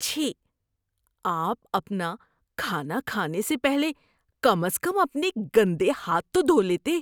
چھی! آپ اپنا کھانا کھانے سے پہلے کم از کم اپنے گندے ہاتھ تو دھو لیتے۔